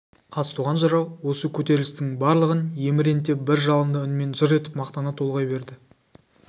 қазтуған жырау осы көтерілістің барлығын еміренте бір жалынды үнмен жыр етіп мақтана толғай берді